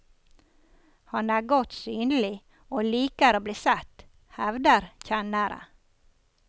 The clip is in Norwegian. Han er godt synlig, og liker å blitt sett, hevder kjennere.